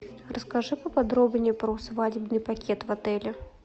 расскажи поподробнее про свадебный пакет в отеле